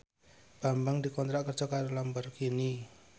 Bambang dikontrak kerja karo Lamborghini